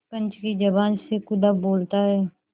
पंच की जबान से खुदा बोलता है